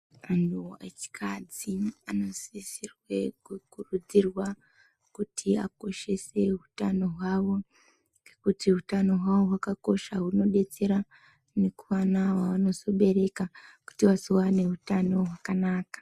Antu echikadzi anosisirwe kukurudzirwa kuti akoshese hutano hwavo kuti hutano hwavo hwakakosha hunodetsera nekuana wavanozobereka kuti wazowane utano hwakanaka.